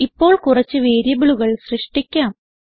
ഇപ്പോൾ കുറച്ച് വേരിയബിളുകൾ സൃഷ്ടിക്കാം